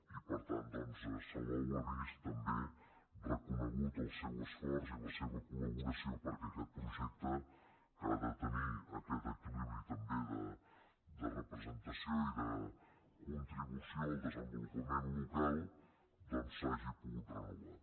i per tant doncs salou ha vist també reconeguts el seu esforç i la seva col·ha de tenir aquest equilibri també de representació i de contribució al desenvolupament local s’hagi pogut renovar